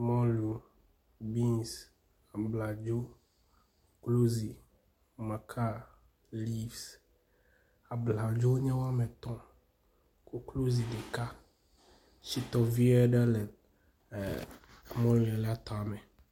Mɔlu, beans, abladzo, rozi, maka, leafs, abladzo nye wometɔ̃, koklozi ɖeka, shitɔ vi aɖe le mɔli la tame